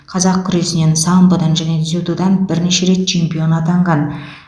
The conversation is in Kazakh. қазақ күресінен самбодан және дзюдодан бірнеше рет чемпион атанған